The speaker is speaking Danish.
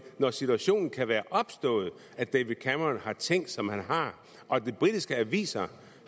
når situationen kan være opstået at david cameron har tænkt som han har og de britiske aviser